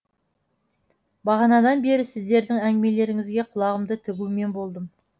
бағанадан бері сіздердің әңгімелеріңізге құлағымды тігумен болдым